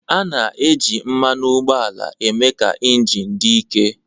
A na-eji mmanụ ụgbọala na-eme ka injin dị ike